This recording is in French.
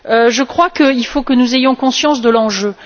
Je crois qu'il faut que nous ayons conscience de l'enjeu.